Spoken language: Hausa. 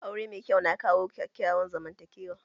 Aure mai kyau na kawo kyakkyawan zaman takewa